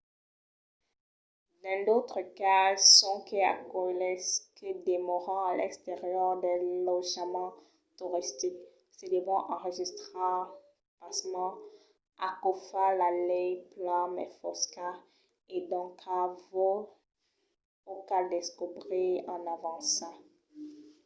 dins d’autres cases sonque aqueles que demòran a l'exterior dels lotjaments toristics se devon enregistrar. pasmens aquò fa la lei plan mai fosca e doncas vos o cal descobrir en avança